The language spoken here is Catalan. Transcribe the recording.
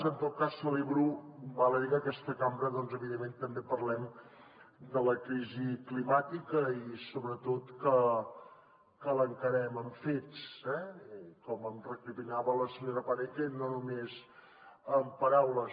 en tot cas celebro val a dir que en aquesta cambra doncs evidentment també parlem de la crisi climàtica i sobretot que l’encarem amb fets eh i com em recriminava la senyora paneque no només amb paraules